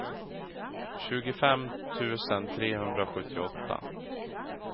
tjugofem tusen trehundrasjuttioåtta